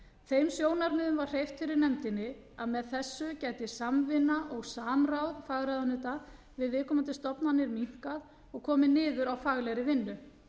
þeim sjónarmiðum var hreyft fyrir nefndinni að með þessu gæti samvinna og samráð fagráðuneyta við viðkomandi stofnanir minnkað og komið niður á faglegri vinnu